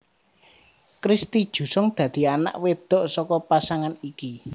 Christy Jusung dadi anak wedok saka pasangan iki